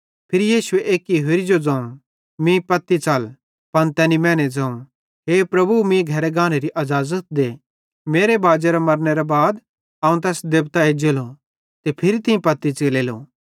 फिरी यीशु एक्की होरि जो ज़ोवं मीं सेइं साथी च़ल पन तैनी मैने ज़ोवं हे प्रभु मीं घरे गानेरी अज़ाज़त दे मेरे बाजेरे मरनेरां बाद अवं तैस देबतां एज्जेलो ते फिरी तीं पत्ती च़लेलो